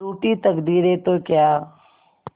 रूठी तकदीरें तो क्या